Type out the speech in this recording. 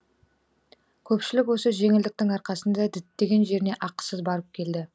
көпшілік осы жеңілдіктің арқасында діттеген жеріне ақысыз барып келді